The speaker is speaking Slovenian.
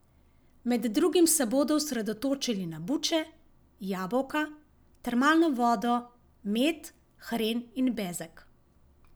Med drugim se bodo osredotočili na buče, jabolka, termalno vodo, med, hren in bezeg.